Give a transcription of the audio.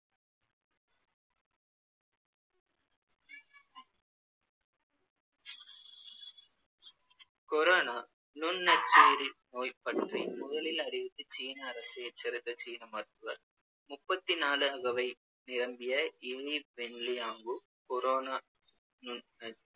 corona நுண் நச்சுயிரி நோய் பற்றி முதலில் அறிவித்து சீன அரசை எச்சரித்த சீன மருத்துவர் முப்பத்து நாலு அகவை நிரம்பிய இலீ வென்லியாங்கு corona நுண்